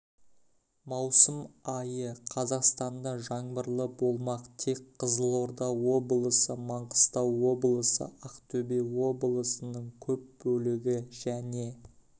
маусым айы қазақстанда жаңбырлы болмақ тек қызылорда облысы маңғыстау облысы ақтөбе облысының көп бөлігі және